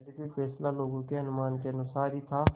यद्यपि फैसला लोगों के अनुमान के अनुसार ही था